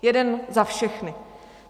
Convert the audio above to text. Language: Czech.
Jeden za všechny.